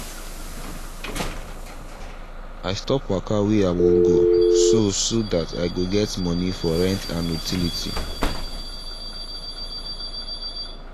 i stop waka way i wan go so so that i go get money for rent and utility